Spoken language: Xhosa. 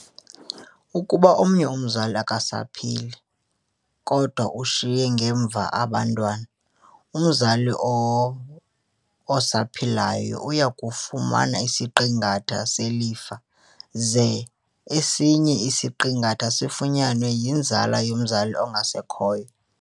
Ukuba omnye umzali akasaphili, kodwa ushiye ngemva abantwana, umzali osaphilayo uyakufumana isiqingatha selifa, ze esinye isiqingatha sifunyanwe yinzala yomzali ongasekhoyo.